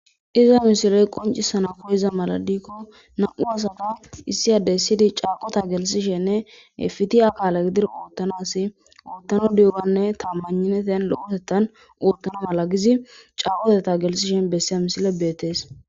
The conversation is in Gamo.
iza misiley qoncisana koyeza mala dikko na7u asafa issi adey ssidi caaqota gelisishenne efiti akaala gidir oottana asi oottano diyuganne tambanineten lo7otettan oottana mala gizi caqotetta gelsishen bessiya misile beettees